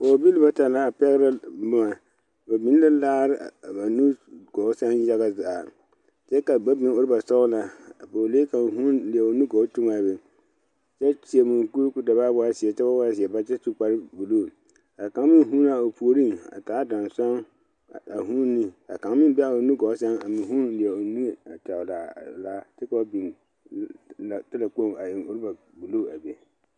Dɔɔbile bata la pɛgrɛ boma ba biŋ la laare a ba nugɔɔ sɛŋ yaga zaa kyɛ ka ba biŋ rɔbasɔglaa a pɔɔlee kaŋ huune leɛ o nugɔɔ tuŋaa be kyɛ seɛ munkuri ko da baa waa zeɛ kyɛ wa waa zeɛ baare kyɛ su kparebluu kaa kaŋ meŋ huunaa o puoriŋ a taa dansan a huune ka kaŋ meŋ be aa a o nu gɔɔ sɛŋ a meŋ huune kyɛ leɛ o niŋe a tɔglaa laa laa kyɛ ka ba biŋ laa talakpoŋ a eŋ rɔba bluu a be.